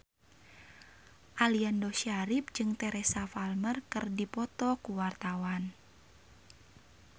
Aliando Syarif jeung Teresa Palmer keur dipoto ku wartawan